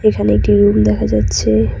এখানে একটি রুম দেখা যাচ্ছে।